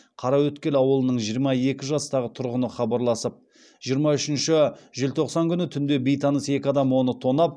қараөткел ауылының жиырма екі жастағы тұрғыны хабарласып жиырма үшінші желтоқсан күні түнде бейтаныс екі адам оны тонап